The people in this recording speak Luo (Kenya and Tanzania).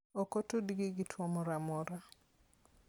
Ok otudgi gi tuwo moro amora.